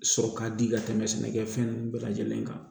Sɔrɔ ka di ka tɛmɛ sɛnɛkɛfɛn ninnu bɛɛ lajɛlen kan